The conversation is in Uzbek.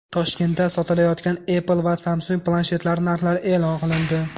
Toshkentda sotilayotgan Apple va Samsung planshetlari narxlari e’lon qilindi.